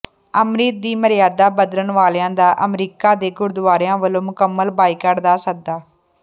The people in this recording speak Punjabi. ਅੰਮ੍ਰਿਤ ਦੀ ਮਰਯਾਦਾ ਬਦਲਣ ਵਾਲਿਆਂ ਦਾ ਅਮਰੀਕਾ ਦੇ ਗੁਰਦੁਆਰਿਆਂ ਵਲੋਂ ਮੁਕੰਮਲ ਬਾਈਕਾਟ ਦਾ ਸੱਦਾ